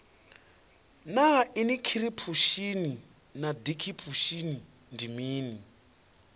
naa inikhiripushini na dikhipushin ndi mini